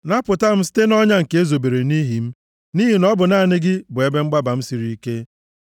Napụta m site nʼọnya nke e zobere nʼihi m, nʼihi na ọ bụ naanị gị bụ ebe mgbaba m siri ike.